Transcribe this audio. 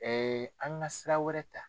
an ka sira wɛrɛ ta.